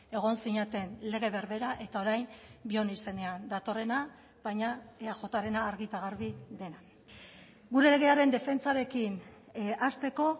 egon zineten lege berbera eta orain bion izenean datorrena baina eajrena argi eta garbi dena gure legearen defentsarekin hasteko